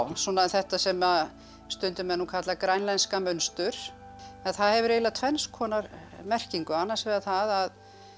þetta sem að stundum er nú kallað grænlenska munstur en það hefur eiginlega tvenns konar merkingu annars vegar það